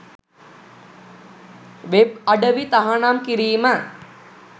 web අඩවි තහනම් කිරීම